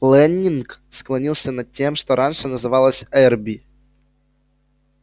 лэннинг склонился над тем что раньше называлось эрби